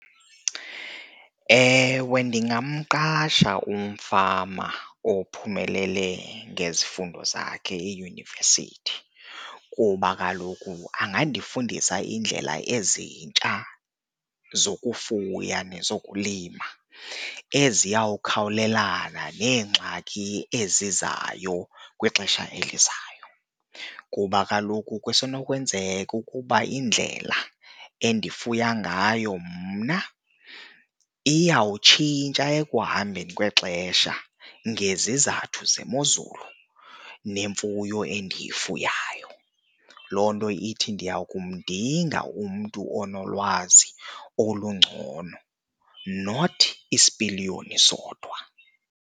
Ewe, ndingamqasha umfama ophumelele ngezifundo zakhe eyunivesithi kuba kaloku angandifundisa iindlela ezintsha zokufuya nezokulima eziyawukhawulelana neengxaki ezizayo kwixesha elizayo. Kuba kaloku kusenokwenzeka ukuba indlela endifuna ngayo mna iyawutshintsha ekuhambeni kwexesha ngezizathu zemozulu nemfuyo endiyifunayo, loo nto ithi ndiya kumdinga umntu onolwazi olungcono not isipiliyoni sodwa.